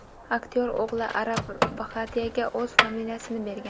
Aktyor o‘g‘li Arav Bhatiyaga o‘z familiyasini bergan.